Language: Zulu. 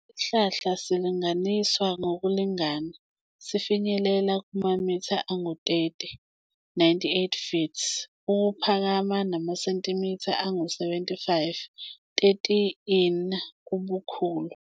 Lesi sihlahla silinganiswa ngokulingana, sifinyelela kumamitha angama-30, 98 ft, ukuphakama namasentimitha angama-75, 30 in, ubukhulu.